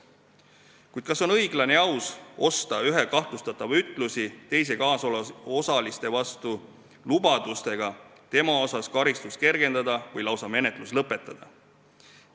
Kuid kas on õiglane ja aus osta ühe kahtlustatava ütlusi teiste kaasosaliste vastu lubadustega tema karistust kergendada või lausa menetlus lõpetada?